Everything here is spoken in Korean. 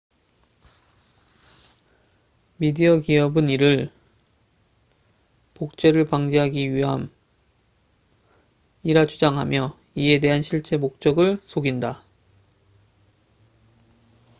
"미디어 기업은 이를 "복제를 방지하기 위함""이라 주장하며 이에 대한 실제 목적을 속인다.